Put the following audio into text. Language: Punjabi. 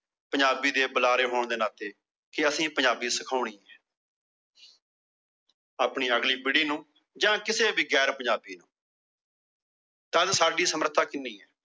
ਪੰਜਾਬੀ ਦੇ ਬੁਲਾਰੇ ਹੋਣ ਦੇ ਨਾਤੇ। ਕਿ ਅਸੀਂ ਪੰਜਾਬੀ ਸਿਖਾਉਣੀ ਏ। ਆਪਣੀ ਅਗਲੀ ਪੀੜੀ ਨੂੰ ਜਾਂ ਕਿਸੇ ਵੀ ਗੈਰ ਪੰਜਾਬੀ ਨੂੰ। ਤਦ ਸਾਡੀ ਸਮਰਥਾ ਕਿੰਨੀ ਏ।